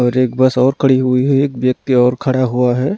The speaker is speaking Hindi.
और एक बस और खड़ी हुई है एक व्यक्ति और खड़ा हुआ है।